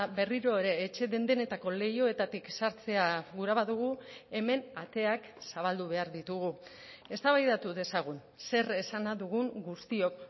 berriro ere etxe den denetako leihoetatik sartzea gura badugu hemen ateak zabaldu behar ditugu eztabaidatu dezagun zer esana dugun guztiok